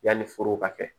Yanni foro ka kɛ